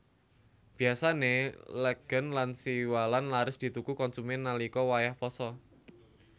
Biyasané legèn lan siwalan laris dituku konsumèn nalika wayah pasa